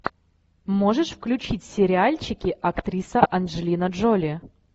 можешь включить сериальчики актриса анджелина джоли